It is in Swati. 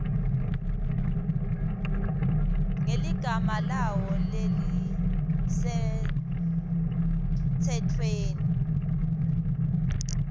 ngeligama lawo lelisemtsetfweni